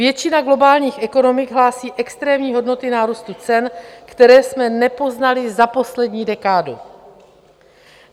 Většina globálních ekonomik hlásí extrémní hodnoty nárůstu cen, které jsme nepoznali za poslední dekádu.